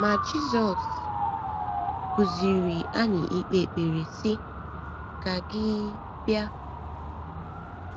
Ma Jizọs kụziiri anyị ikpe ekpere, sị: “ Ka gị um bịa.